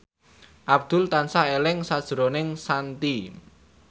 Abdul tansah eling sakjroning Shanti